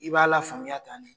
I b'a la faamuya tan de